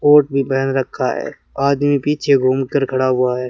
Coat भी पहन रखा है आदमी पीछे घूम कर खड़ा हुआ है।